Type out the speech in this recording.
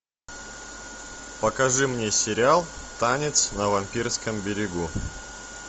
покажи мне сериал танец на вампирском берегу